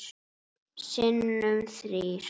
Sinnum þrír.